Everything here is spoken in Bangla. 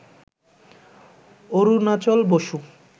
অরুণাচল বসু,